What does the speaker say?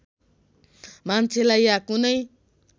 मान्छेलाई या कुनै